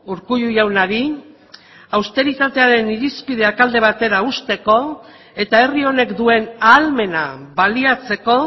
urkullu jaunari austeritatearen irizpideak alde batera uzteko eta herri honek duen ahalmena baliatzeko